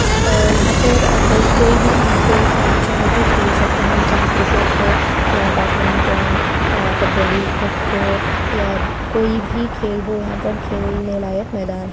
अ यहाँ पर अ कई कोई भी हम खेल खेलना चाहो तो खेल सकते है वो चाहे क्रिकेट हो या बेडमिंटन या कबड्डी खो-खो या कोई भी खेल हो यहाँ पर खेलने लायक मैदा--